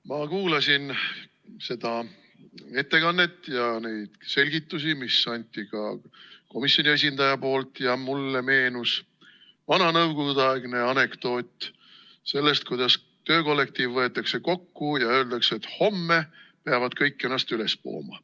Ma kuulasin seda ettekannet ja neid selgitusi, mida andis komisjoni esindaja, ja mulle meenus vana nõukogudeaegne anekdoot sellest, kuidas töökollektiiv võetakse kokku ja öeldakse, et homme peavad kõik ennast üles pooma.